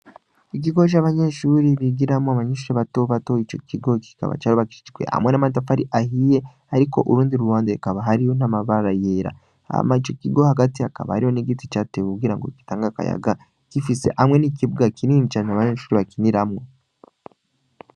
Ikigo c'ishuri abanyeshure bigiramwo, abanyeshure batobato, ico kigo kikaba cubakishijwe hamwe n'amatafari ahiye, ariko urundi ruhande hakaba hariho n'amabara yera, hama ico kigo hagati hakaba hariho igiti catewe kugira gitange akayaga, gifise hamwe n'ikibuga kinini cane abanyeshure bakiniramwo.